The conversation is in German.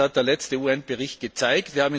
Das hat der letzte UN Bericht gezeigt.